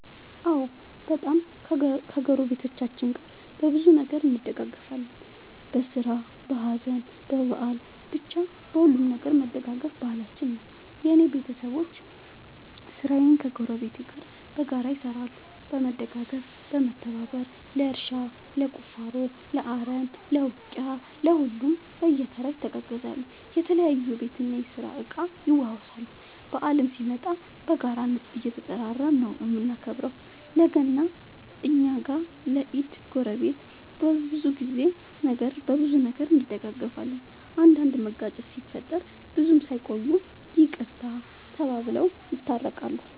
አዎ በጣም ከ ጎረቤቶቻችን ጋር በብዙ ነገር እንደጋገፋለን በስራ በሀዘን በበአል በቻ በሁሉም ነገር መደጋገፍ ባህላችን ነው። የእኔ ቤተሰቦቼ ስራን ከ ጎረቤት ጋር በጋራ ይሰራሉ በመደጋገፍ በመተባበር ለእርሻ ለቁፋሮ ለአረም ለ ውቂያ ለሁሉም በየተራ ይተጋገዛሉ የተለያዩ የቤት እና የስራ እቃ ይዋዋሳሉ። በአልም ሲመጣ በጋራ እየተጠራራን ነው የምናከብረው ለ ገና እኛ ጋ ለ ኢድ ጎረቤት። በብዙ ነገር እንደጋገፋለን። አንዳንድ መጋጨት ሲፈጠር ብዙም ሳይቆዩ ይቅርታ ተባብለው የታረቃሉ።